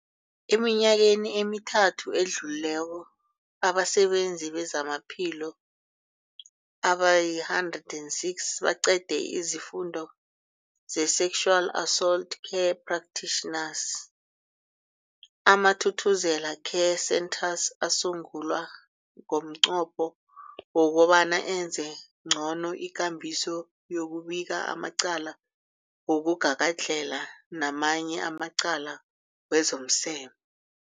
Eminyakeni emithathu edluleko, abasebenzi bezamaphilo abali-106 baqede isiFundo se-Sexual Assault Care Practitioners. AmaThuthuzela Care Centres asungulwa ngomnqopho wokobana enze ngcono ikambiso yokubika amacala wokugagadlhela namanye amacala wezomseme.